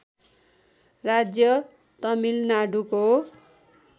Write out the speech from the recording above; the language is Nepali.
राज्य तमिलनाडुको